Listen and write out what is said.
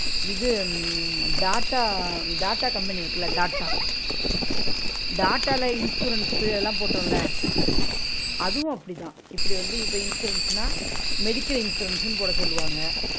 இது உம் டாட்டா டாட்டா company இருக்குல டாட்டா டாட்டால insurance உ அதுல்லா போட்டோல்ல அதுவும் அப்பிடித்தான் இப்பிடி வந்து இப்ப insurance ன்னா medical insurance ன்னு போட சொல்வாங்க